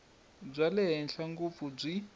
bya le henhla ngopfu byi